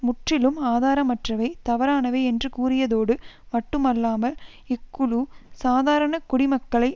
முற்றிலும் ஆதாரமற்றவை தவறானவை என்று கூறியதோடு மட்டுமல்லாமல் இக்குழு சாதாரண குடிமக்களை